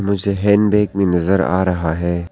मुझे हैंडबैग भी नजर आ रहा है।